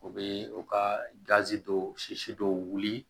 U bɛ u ka gazi dɔw sisi dɔw wuli